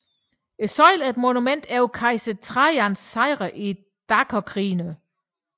Søjlen er et monument over Kejser Trajans sejre i dakerkrigene